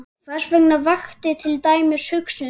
Hversvegna vakti til dæmis hugsunin um